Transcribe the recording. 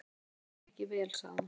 Okkur leið ekki vel sagði hún.